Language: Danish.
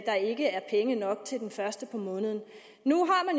der ikke er penge nok den første i måneden nu